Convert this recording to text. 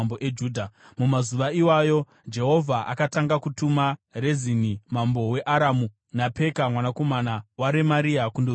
(Mumazuva iwayo Jehovha akatanga kutuma Rezini mambo weAramu naPeka mwanakomana waRemaria kundorwisa Judha.)